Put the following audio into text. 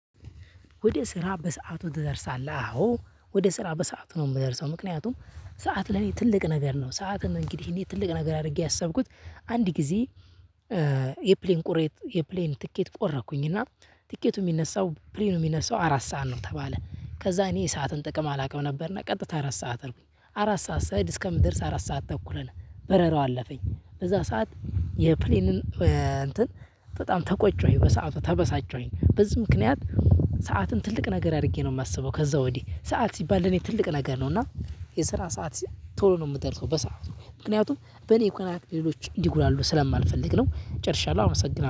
ወደ ስራ በሰአቱ ትደርሳለህ? አዎ ወደ ስራ በሰአቱ ነው ምደርሰው ምክንያቱም ሰዓት ለኔ ትልቅ ነገር ነው ሰዓትም እንግዲህ እኔ ትልቅ ነገር አድርጌ ያሰብኩት አንድ ጊዜ የፕሌን ቁሬት የፕሌን ትኬት ቆረኩኝና ትኬቱ ሚነሳው ፕሌኑ ሚነሳው አራት ሰዓት ነው ተባለ ከዛ እኔ የሰዓትን ጥቅም አላቅም ነበርና ቀጥታ አራት ሰዓት ነው። አራት ሰዓት ስሄድ እስከምደርስ አራት ሰዓት ተኩል ሆነ። በረራው አለፈኝ በዛ ሰዓት የፕሌንን እንትን በጣም ተቆጮኝ በሰአቱ ተበሳጨሁኝ በዚህ ምክንያት ሰዓትን ትልቅ ነገር አድርጌ ነው ማስበው ከዛ ወዲህ ሰዓት ሲባል ለኔ ትልቅ ነገር ነው እና የስራ ሰዓት ቶሎ ነው ምደርሰው በሰአቱ ምክንያቱም በኔ ቀናት ሌሎች እንዲጉላሉ ስለማልፈልግ ነው ጨርሻለሁ አመሰግናለሁ።